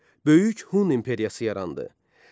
Böyük Hun imperiyası yarandı.